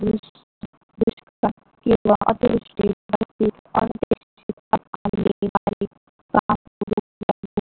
किंवा अतिवृष्टी